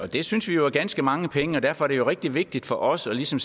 det synes vi jo er ganske mange penge og derfor er det rigtig vigtigt for os ligesom